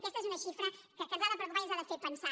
aquesta és una xifra que ens ha de preocupar i ens ha de fer pensar